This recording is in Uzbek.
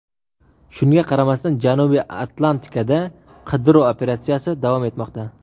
Shunga qaramasdan, Janubiy Atlantikada qidiruv operatsiyasi davom etmoqda.